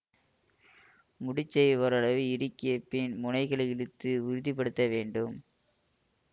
முடைச்சை ஓரளவு இறுக்கியபின் முனைகளை இழுத்து உறுதி படுத்த வேண்டும்